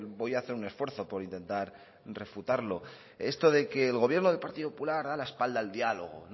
voy a hacer un esfuerzo por intentar refutarlo esto de que el gobierno del partido popular da la espalda al diálogo